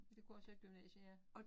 Det kunne også være gymnasie ja